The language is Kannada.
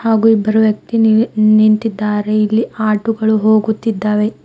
ಹಾಗೂ ಇಬ್ಬರು ವ್ಯಕ್ತಿ ನೀ ನಿಂತಿದ್ದಾರೆ ಇಲ್ಲಿ ಆಟೋ ಗಳು ಹೋಗುತ್ತಿದ್ದಾವೆ.